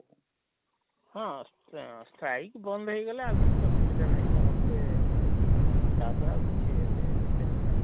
ହଁ Strike Streik ବନ୍ଦ ହେଇ ଗଲେ ଆଉ କିଛି ଅସୁବିଧା ନାହିଁ ସମସ୍ତେ ଏଁ ଏଁ ତାପରେ ଆଉ କିଛି ହେତେ diffirent ନାହିଁ,